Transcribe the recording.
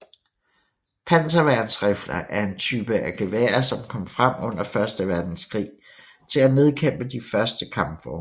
Panserværnsrifler er en type af geværer som kom frem under Første Verdenskrig til at nedkæmpe de første kampvogne